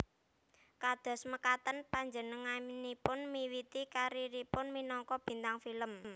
Kados mekaten panjenenganipun miwiti kariéripun minangka bintang film